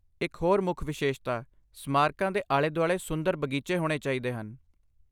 ਇਕ ਹੋਰ ਮੁੱਖ ਵਿਸ਼ੇਸ਼ਤਾ ਸਮਾਰਕਾਂ ਦੇ ਆਲੇ ਦੁਆਲੇ ਸੁੰਦਰ ਬਗੀਚੇ ਹੋਣੇ ਚਾਹੀਦੇ ਹਨ।